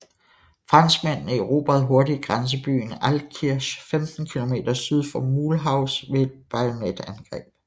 Franskmændene erobrede hurtigt grænsebyen Altkirch 15 km syd for Mulhouse ved et bajonetangreb